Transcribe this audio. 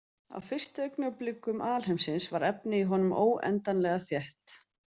Á fyrstu augnablikum alheimsins var efnið í honum óendanlega þétt.